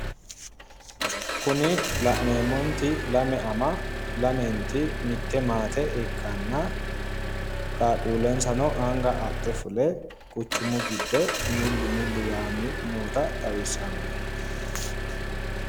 Kuni la'neemmoti lame ama lamenti mitte maate ikkanna qaaqquullensano anga adhe fule quchumu giddo milli milli yaanni noota xawissanno